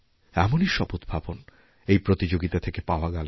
এমনই সব উদ্ভাবন এই প্রতিযোগিতা থেকে পাওয়া গেল